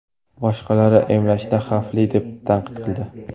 Boshqalari emlashni xavfli deb tanqid qildi.